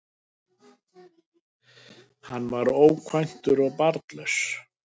Hann var ókvæntur og barnlaus